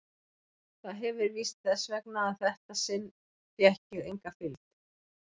Það hefir víst verið þess vegna að þetta sinn fékk ég enga fylgd.